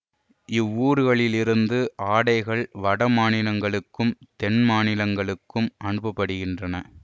இவ்வூர்களில் இருந்து ஆடைகள் வட மாநிலங்களுக்கும் தென் மாநிலங்களுக்கும் அனுப்ப படுகின்றன